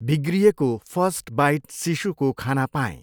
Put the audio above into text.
बिग्रिएको first bite शिशुको खाना पाएँ।